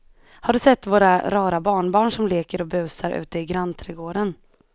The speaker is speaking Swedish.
Har du sett våra rara barnbarn som leker och busar ute i grannträdgården!